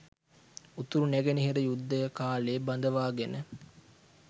උතුරු නැගෙනහිර යුද්ධය කාලේ බඳවාගෙන